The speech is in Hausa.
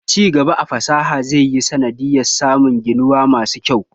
Ci gaba a fasaha zai yi sanadin samun gininuwa masu kyau.